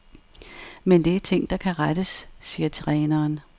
Men det er ting, der kan rettes, siger træneren.